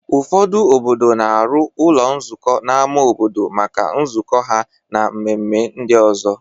Ụfọdụ obodo na-arụ ụlọ nzukọ n'ama obodo maka nzukọ ha na mmemme ndị ọzọ.